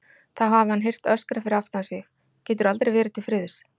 Þá hafi hann heyrt öskrað fyrir aftan sig: Geturðu aldrei verið til friðs?